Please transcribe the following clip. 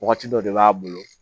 Wagati dɔ de b'a bolo